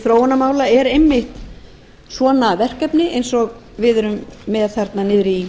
þróunarmála er einmitt svona verkefni eins og við erum með þarna niðri í